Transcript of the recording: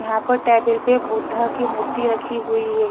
यहां पर टेबल पर बुद्धा की मूर्ति रखी हुई है।